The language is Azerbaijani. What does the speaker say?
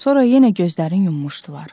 Sonra yenə gözlərin yummuşdular.